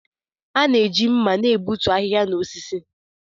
A na-eji mma na-egbutu ahịhịa na osisi.